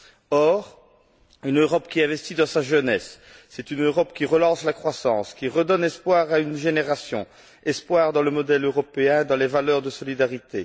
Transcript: Or, une Europe qui investit dans sa jeunesse, c'est une Europe qui relance la croissance, qui redonne espoir à une génération espoir dans le modèle européen, dans les valeurs de solidarité.